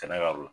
Kɛnɛ kan